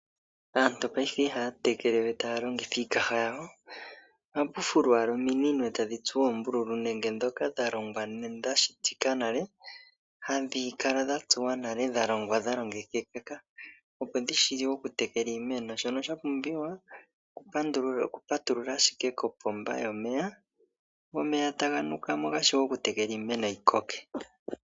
Aantu payife ihaya tekele we taya longitha iikaha yawo. Ohaku fulwa owala ominino etadhi tsuwa oombululu, nenge ndhoka dha longwa dha shitwa hadhi kala dha tsuwa nawa dha longwa nale shono sha pumbiwa oku patulula ashike kopomba yomeye go omeya taga nukamo gashiwe oku tekela iimeno yi koke.